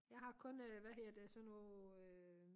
Jeg har kun øh hvad hedder det sådan noget øh